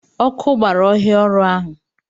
Ọkụ gbara ọhịa ọrụ ha